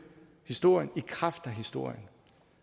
historien i kraft af historien